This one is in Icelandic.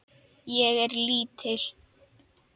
Ég er lítil.